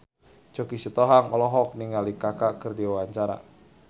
Choky Sitohang olohok ningali Kaka keur diwawancara